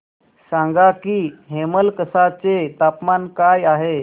सांगा की हेमलकसा चे तापमान काय आहे